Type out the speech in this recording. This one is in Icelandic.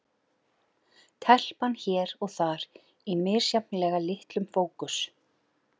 Telpan hér og þar í misjafnlega litlum fókus.